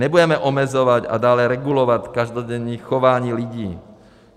Nebudeme omezovat a dále regulovat každodenní chování lidí.